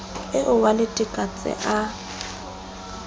eo wa letekatse ha a